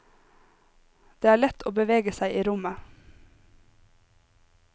Det er lett å bevege seg i rommet.